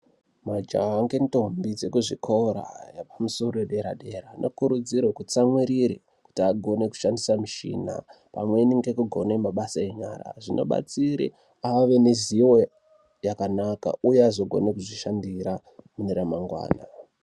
Majaha ngendombi dzekuzvikora yepamusoro yedera-dera. Vanokurudzirwe kutsamwirire kuti agone kushandisa mushina pamweni nekugona mabasa enyara. Zvinobatsire ave nezivo yakanaka, uye azogone kuzvishandira mune ramangwana.